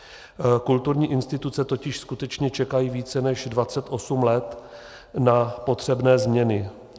Kulturní instituce totiž skutečně čekají více než 28 let na potřebné změny.